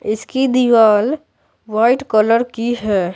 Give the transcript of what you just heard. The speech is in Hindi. इसकी दीवाल वाइट कलर की है।